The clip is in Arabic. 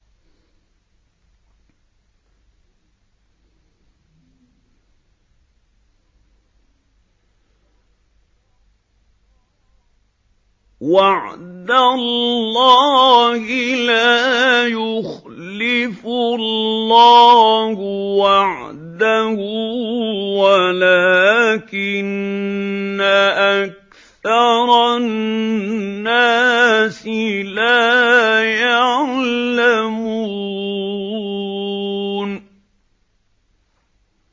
وَعْدَ اللَّهِ ۖ لَا يُخْلِفُ اللَّهُ وَعْدَهُ وَلَٰكِنَّ أَكْثَرَ النَّاسِ لَا يَعْلَمُونَ